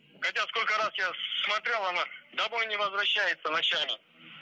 хотя сколько раз я смотрел она домой не возвращается ночами